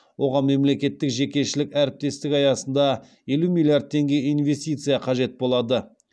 оған мемлекеттік жекешелік әріптестік аясында елу миллиард теңге инвестиция қажет болады